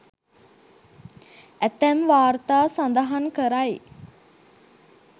ඇතැම් වාර්තා සඳහන් කරයි